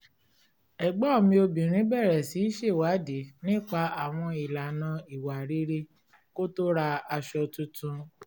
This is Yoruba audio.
ẹ̀gbọ́n mi obìnrin bẹ̀rẹ̀ sí ṣèwádìí nípa àwọn ìlànà ìwà rere kó tó ra aṣọ tuntun